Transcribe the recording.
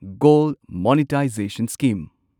gold monetisation scheme